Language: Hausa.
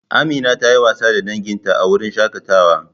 Amina ta yi wasa da danginta a wurin shakatawa.